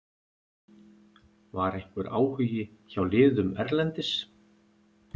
Var einhver áhugi hjá liðum erlendis?